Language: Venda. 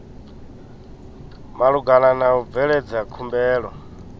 malugana na u bveledza khumbelo